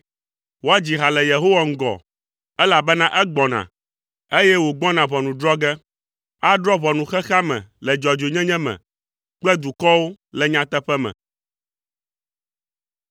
woadzi ha le Yehowa ŋgɔ, elabena egbɔna, eye wògbɔna ʋɔnu drɔ̃ ge. Adrɔ̃ ʋɔnu xexea me le dzɔdzɔenyenye me kple dukɔwo le nyateƒe me.